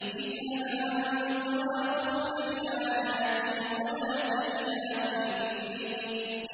اذْهَبْ أَنتَ وَأَخُوكَ بِآيَاتِي وَلَا تَنِيَا فِي ذِكْرِي